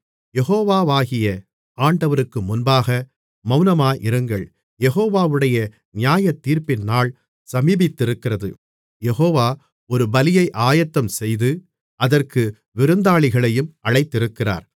யெகோவாகிய ஆண்டவருக்கு முன்பாக மௌனமாயிருங்கள் யெகோவாவுடைய நியாயத்தீர்ப்பின் நாள் சமீபித்திருக்கிறது யெகோவா ஒரு பலியை ஆயத்தம்செய்து அதற்கு விருந்தாளிகளையும் அழைத்திருக்கிறார்